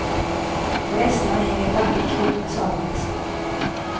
På hästarna hänger vackert knutna sadelväskor.